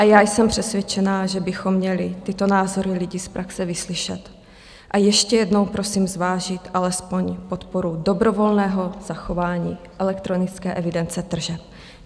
A já jsem přesvědčená, že bychom měli tyto názory lidí z praxe vyslyšet, a ještě jednou prosím zvážit alespoň podporu dobrovolného zachování elektronické evidence tržeb.